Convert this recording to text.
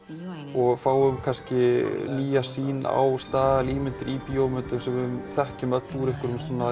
og fáum kannski nýja sýn á staðalímyndir í bíómyndum sem við þekkjum öll úr einhverjum svona